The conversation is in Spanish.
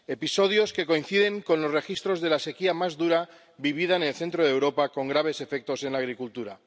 episodios que coinciden con los registros de la sequía más dura vivida en el centro de Europa con graves efectos en la agricultura.